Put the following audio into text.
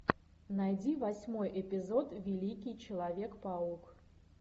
найди восьмой эпизод великий человек паук